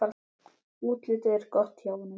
Útlitið er gott hjá honum.